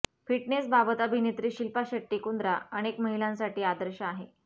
फिटनेसबाबत अभिनेत्री शिल्पा शेट्टी कुंद्रा अनेक महिलांसाठी आदर्श आहे